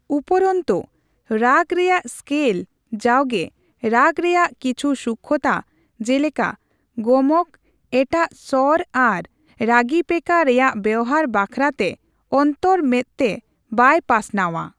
ᱩᱯᱚᱨᱚᱱᱛᱚ, ᱨᱟᱜ ᱨᱮᱭᱟᱜ ᱥᱠᱮᱞ ᱡᱟᱣᱜᱮ ᱨᱟᱜ ᱨᱮᱭᱟᱜ ᱠᱤᱪᱦᱩ ᱥᱩᱠᱠᱷᱚᱛᱟ, ᱡᱮᱞᱮᱠᱟ, ᱜᱚᱢᱚᱠ, ᱮᱴᱟᱜ ᱥᱚᱨ ᱟᱨ ᱨᱟᱜᱤᱯᱮᱠᱟ ᱨᱮᱭᱟᱜ ᱵᱮᱣᱦᱟᱨ ᱵᱟᱠᱷᱨᱟ ᱛᱮ ᱚᱱᱛᱚᱨ ᱢᱮᱫᱛᱮ ᱵᱟᱭ ᱯᱟᱥᱱᱟᱣᱼᱟ ᱾